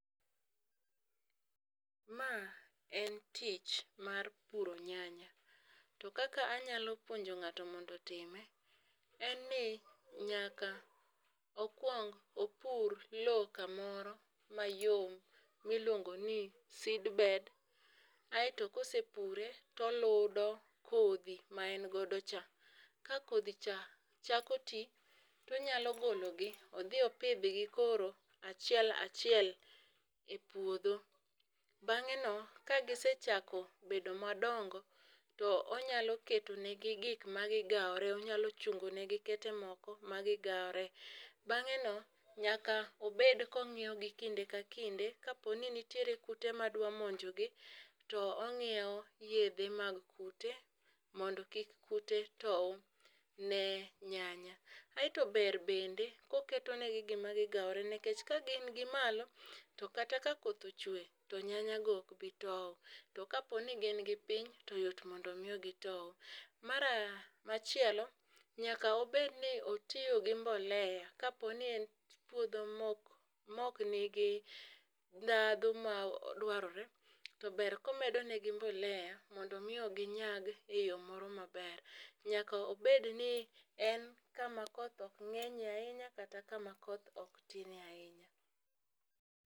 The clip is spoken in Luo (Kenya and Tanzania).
Ma en tich mar puro nyanya to kaka anyalo puonjo ng'ato mondo otime en ni nyaka okwong opur lowo kamoro mayom miluongo ni seed bed. Aeto kosepure to ludo kodhi ma en godo cha. Ka kodhi cha chako tii tonyalo glo gi odhi opidh gi koro achiel achiel e puodho. Bang'e no ka gisechako bedo madongo to onyalo keto ne gi gik ma gigaore onyalo chungo negi kete moko ma gigawore ,bang'e no nyako bed ka ong'iyo gi kinde ka kinde kapo ni ntie kute mandwa monji gi to ong'iewo yedhe mag kute mondo kik kute tow ne nyanya. Aeto ber bende ka oketo ne gi gima gigawore nikech ka gin gimalo to nyanya go ok bii twoo to ka gin gi piny to yot mondo mi gitow. Machielo nyaka obed ni otiyo gi mbolea kapo ni puodho mok nigi ndhahu madwarore ,to ber komedo ne gi mbolea mondo mi ginyag e yoo moro maber nyaka obed ni ok en kama koth ok ng'enyie ahinya kata kama koth ok tinie ahinya.